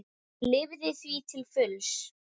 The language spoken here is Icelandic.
Hún lifði því til fulls.